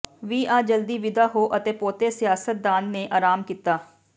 ਵੀ ਆ ਜਲਦੀ ਵਿਦਾ ਹੋ ਪੋਤੇ ਸਿਆਸਤਦਾਨ ਨੇ ਅਰਾਮ ਕੀਤਾ